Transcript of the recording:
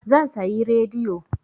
Zan sayi rediyo.